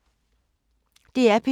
DR P2